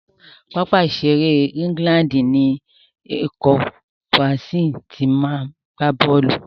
Pápá ìṣeré England ni ikọ̀ Brazil ti ma gbá bọ́ọ̀lù.